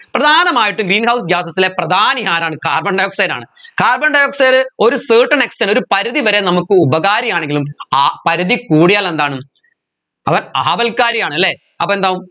പ്രധാനമായിട്ടും greenhouse gases ലെ പ്രധാനി ആരാണ് carbon dioxide ആണ് carbon dioxide ഒരു certain extend ഒരു പരിധി വരെ നമ്മുക്ക് ഉപകാരി ആണെങ്കിലും ആ പരിധി കൂടിയാൽ എന്താണ് അവൻ ആപൽകാരിയാണ് അല്ലെ അപ്പോ എന്താകും